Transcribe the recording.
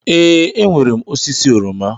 Ee, enwere m osisi oroma.